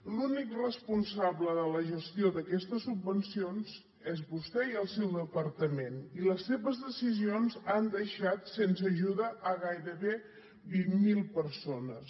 l’únic responsable de la gestió d’aquestes subvencions és vostè i el seu departament i les seves decisions han deixat sense ajuda gairebé vint mil persones